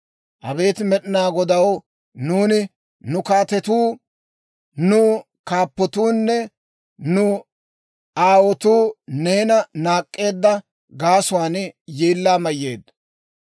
Abeet Med'inaa Godaw, nuuni, nu kaatetuu, nu kaappatuunne nu aawotuu neena naak'k'eedda gaasuwaan yeellaa mayyeeddo.